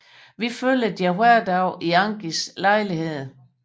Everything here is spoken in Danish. Vi følger deres hverdag i Angies lejlighed